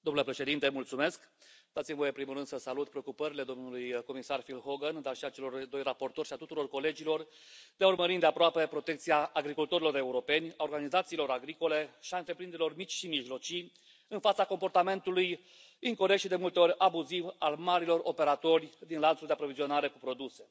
Domnule președinte, dați mi voie, în primul rând, să salut preocupările domnului comisar Phil Hogan, dar și ale celor doi raportori și ale tuturor colegilor de a urmări îndeaproape protecția agricultorilor Europeni, a organizațiilor agricole și a întreprinderilor mici și mijlocii în fața comportamentului incorect și, de multe ori, abuziv al marilor operatori din lanțul de aprovizionare cu produse.